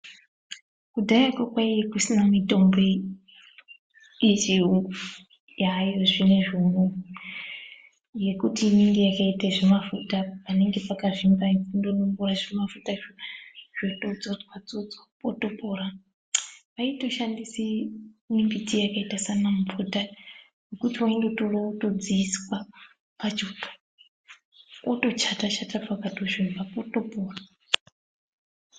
Kudhayako kaiye kusina mitombo yechiyungu yaayo zvinizvi unou yekuti inenge yakaite zvimafuta panenge pakazvimba kundonombira zvimafuta izvo zvitodzodzwa dzodzwa potopora, vaitoshandise mimbiti yakaite sana mupfuta wekuti wondotorawo wotodziiswa pachoto wotochata chata pakatozvimba potopora.